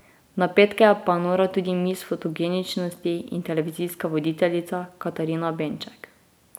Na petke pa je nora tudi miss fotogeničnosti in televizijska voditeljica Katarina Benček.